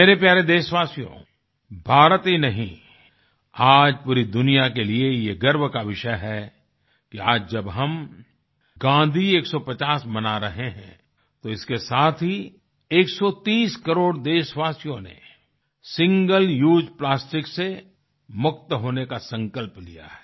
मेरे प्यारे देशवासियों भारत ही नहीं आज पूरी दुनिया के लिए ये गर्व का विषय है कि आज जब हम गाँधी 150 मना रहे हैं तो इसके साथ ही 130 करोड़ देशवासियों ने सिंगल उसे प्लास्टिक से मुक्त होने का संकल्प लिया है